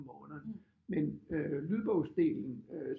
Måneden men lydbogsdelen